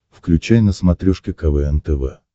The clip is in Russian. включай на смотрешке квн тв